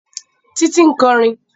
Títí ń kọrin